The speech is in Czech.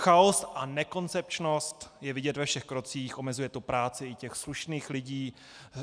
Chaos a nekoncepčnost je vidět ve všech krocích, omezuje to práci i těch slušných lidí na ŘSD.